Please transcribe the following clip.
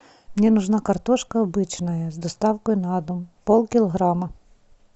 мне нужна картошка обычная с доставкой на дом пол килограмма